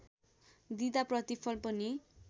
दिँदा प्रतिफल पनि